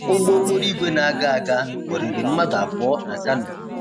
Ụgbọ okporoìgwè na-aga aga kwọriri mmadụ abụọ na Kano.